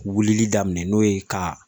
Wulili daminɛ n'o ye ka